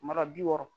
Mara bi wɔɔrɔ